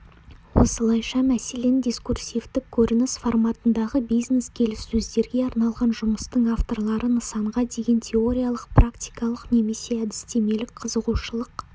осылайша мәселен дискурсивтік көрініс форматындағы бизнес-келіссөздерге арналған жұмыстың авторлары нысанға деген теориялық практикалық немесе әдістемелік қызығушылық